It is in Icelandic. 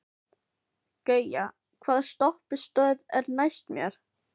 Gauja, hvaða stoppistöð er næst mér?